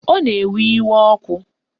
Ọ na-ewe iwe ọkụ